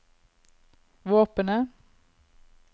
våpenet